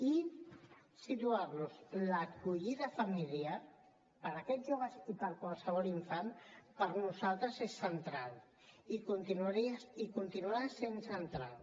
i situar los l’acollida familiar per a aquests joves i per a qualsevol infant per nosaltres és central i continuarà sent central